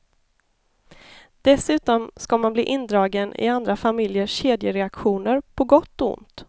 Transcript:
Dessutom ska man bli indragen i andra familjers kedjereaktioner på gott och ont.